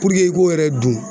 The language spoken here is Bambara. Puruke i k'o yɛrɛ dun